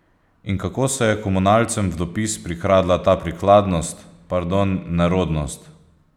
In kako se je komunalcem v dopis prikradla ta prikladnost, pardon, nerodnost?